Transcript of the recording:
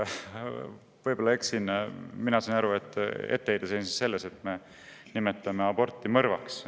Võib-olla ma eksin, aga mina sain aru, et etteheide seisnes selles, et me nimetame aborti mõrvaks.